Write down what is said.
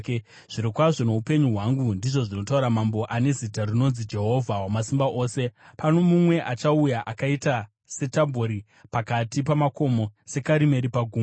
“Zvirokwazvo noupenyu hwangu,” ndizvo zvinotaura Mambo, ane zita rinonzi Jehovha Wamasimba Ose, “pano mumwe achauya akaita seTabhori pakati pamakomo, seKarimeri pagungwa.